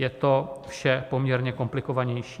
Je to vše poměrně komplikovanější.